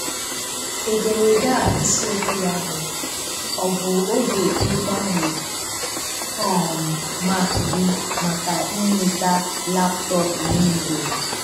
Ederede a isiokwu ya bụ "Ọ bụ oge igbanwe um Mac gi maka inweta laptọọpụ Window?"